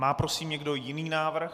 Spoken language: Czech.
Má prosím někdo jiný návrh?